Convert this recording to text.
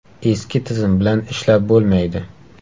Eski tizim bilan ishlab bo‘lmaydi.